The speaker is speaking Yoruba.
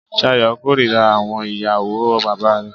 Sayo kòrira àwọn ìyàwó bàbá re.